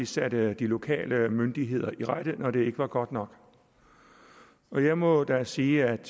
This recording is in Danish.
satte de lokale myndigheder i rette når det ikke var godt nok jeg må da sige at